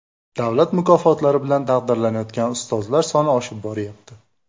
Davlat mukofotlari bilan taqdirlanayotgan ustozlar soni oshib boryapti.